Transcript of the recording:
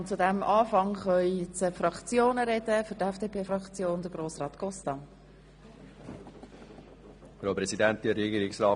Zu diesem Anfang können sich die Fraktionssprecher äussern.